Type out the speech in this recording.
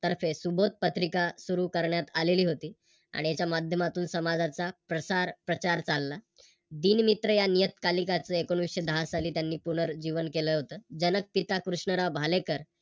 तर्फे सुबोध पत्रिका सुरू करण्यात आलेली होती आणि त्या माध्यमातून समाजाचा प्रसार प्रचार चालला. दिन मित्र या नियतकालिकाचे एकोणविशे दहा साली त्यांनी पुनर्जीवन केल होत. जनक पिता कृष्णराव भालेकर